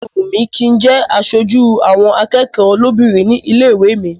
Ó máa wùn mí kí n jẹ́ aṣojú àwọn akẹ́kọ̀ọ́ lóbìnrin nílé ìwé mi.